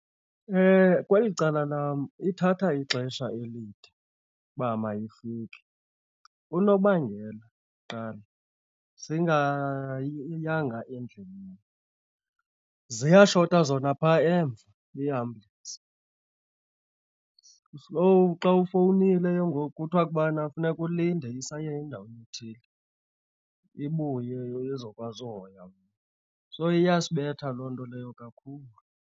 Kweli cala lam ithatha ixesha elide uba mayifike. Unobangela kuqala singayanga endlini, ziyashota zona pha emva iiambulensi. So xa ufowunile ke ngoku kuthiwa kubana funeka ulinde isaye endaweni ethile ibuye nizokwazi uhoywa. So iyasibetha loo nto leyo kakhulu.